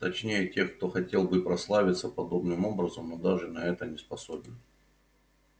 точнее тех кто хотел бы прославиться подобным образом но даже на это не способен